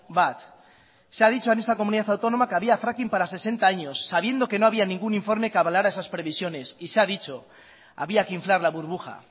bat se ha dicho en esta comunidad autónoma que había fracking para sesenta años sabiendo que no había ningún informe que avalara esas previsiones y se ha dicho había que inflar la burbuja